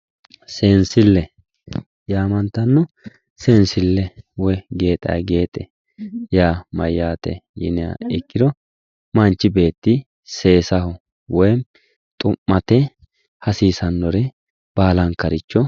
seensille yaamantanno woy gexa gexe yaa mayyate yiniha ikkiha ikkiro manchi beeti seesate woy xu'mate hasiisannore baalankaricho